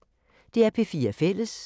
DR P4 Fælles